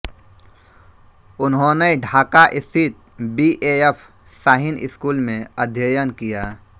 उन्होंने ढाका स्थित BAF Shaheen school में अध्ययन किया